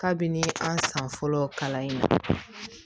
Kabini an san fɔlɔ kalan in